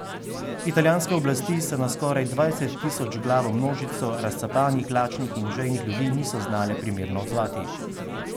Italijanske oblasti se na skoraj dvajsettisočglavo množico razcapanih, lačnih in žejnih ljudi niso znale primerno odzvati.